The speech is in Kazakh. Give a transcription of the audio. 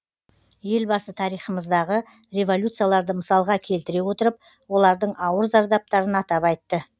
елбасы тарихымыздағы революцияларды мысалға келтіре отырып олардың ауыр зардаптарын атап айтты